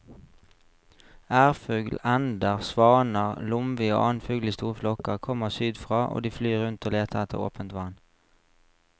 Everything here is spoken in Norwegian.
Ærfugl, ender, svaner, lomvi og annen fugl i store flokker kommer sydfra og de flyr rundt og leter etter åpent vann.